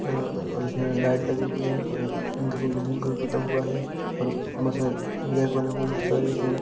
अ-ओर उसमे लाइट लगी हुई है और ग्रीन-ग्रीन कलर पुता हुआ है और मसाज जेक बना हुआ है बहुत सारे उसमे --